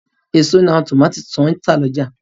Èso ní àwọn tòmátò tó n tà lọ́jà